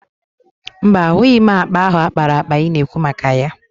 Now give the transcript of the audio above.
Mba, ahụghị m akpa ahụ a kpara akpa ị na-ekwu maka ya.